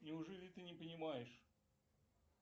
неужели ты не понимаешь